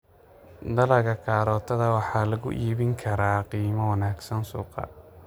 Dalagga karootada waxaa lagu iibin karaa qiimo wanaagsan suuqa.